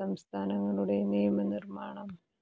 സംസ്ഥാനങ്ങളുടെ നിയമനിര്മാണം